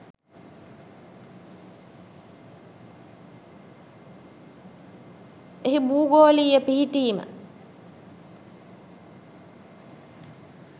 එහි භූගෝලීය පිහිටීම